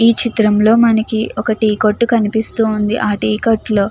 ఈ చిత్రంలో మనకి ఒక టీ కొట్టు కనిపిస్తుంది. ఆ టీ కొట్లో --